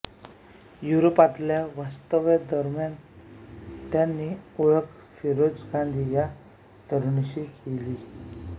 युरोपातल्या वास्तव्यादरम्यानच त्यांची ओळख फिरोज गांधी या तरुणाशी झाली